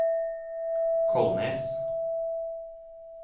Kolnes